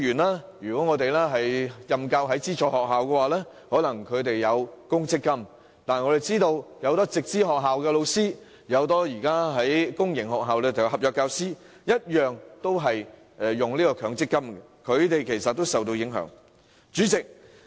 在資助學校任教的僱員，很可能會享有公積金；但很多在直資學校任教的教師，以及在公營學校任教的合約教師，同樣要向強積金供款，因此他們均會受到影響。